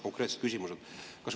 Konkreetsed küsimused.